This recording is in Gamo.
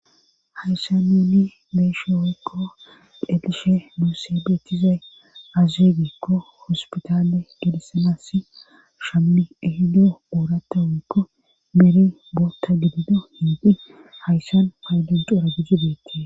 Hayssa nuuni beeshe oykko delishe moosebeetizey azeegikko hospitale gelessanassi shammi ehido oorata hoykko meere bootta gidido hiidin hayssan haydunxura gijjudeetti.